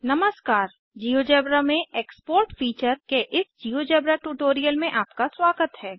नमस्कार जियोजेब्रा में export feature के इस जिओजेब्रा ट्यूटोरियल में आपका स्वागत है